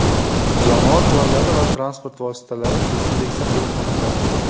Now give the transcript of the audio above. Jamoat joylari va transport vositalari dezinfeksiya qilinmoqda.